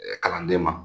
kalanden ma